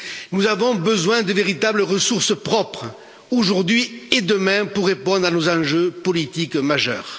Nous avons besoin de véritables ressources propres, aujourd'hui et demain, pour répondre à nos enjeux politiques majeurs.